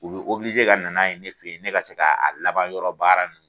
U bɛ ka na n'a ye ne fɛ ye ne ka se ka a laban yɔrɔ baara